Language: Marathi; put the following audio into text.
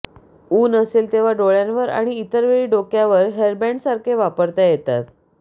ऊन असेल तेव्हा डोळ्यांवर आणि इतर वेळी डोक्यावर हेअरबॅण्डसारखे वापरता येतात